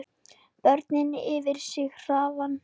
Börnin yfir sig hrifin.